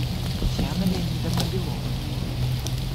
татьяна леонидовна белова